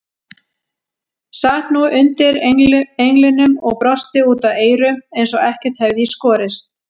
Sat nú undir englinum og brosti út að eyrum eins og ekkert hefði í skorist.